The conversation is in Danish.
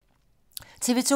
TV 2